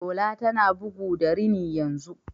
Shola tana bugu da rini yanzu.